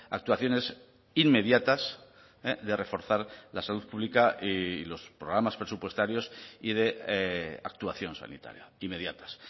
actuaciones inmediatas de reforzar la salud pública y los programas presupuestarios y de actuación sanitaria inmediatas